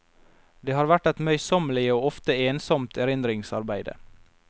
Det har vært et møysommelig og ofte ensomt erindringsarbeide.